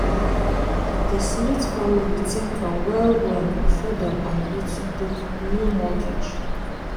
di smith family think am well-well before dem agree to take new mortgage.